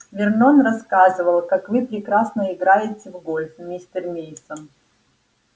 вернон рассказывал как вы прекрасно играете в гольф мистер мейсон